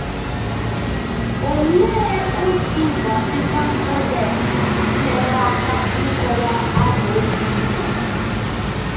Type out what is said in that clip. Òlee otú Vatican Codex nyere aka ịkọwa amaokwu ndị a?